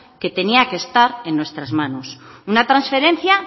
que tenía que estar en nuestras manos una transferencia